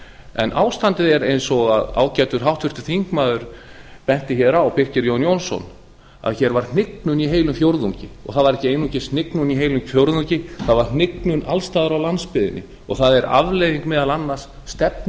en ástandið er eins og ágætur háttvirtur þingmaður benti á birkir jón jónsson það var hnignun í heilum fjórðungi og það var ekki aðeins hnignun í heilum fjórðungi það var hnignun alls staðar á landsbyggðinni og það er afleiðing meðal annars stefnu